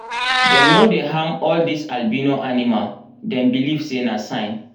dem no dey harm all this albino animal dem beleive sey na sign